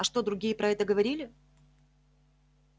а что другие про это говорили